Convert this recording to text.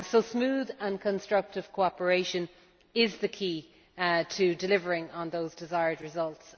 Smooth and constructive cooperation is the key to delivering on those desired results